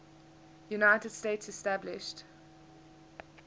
united states established